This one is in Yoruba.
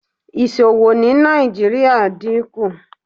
Iṣowo ni Nigeria n dinku